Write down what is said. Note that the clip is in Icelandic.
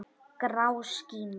Grá skíma.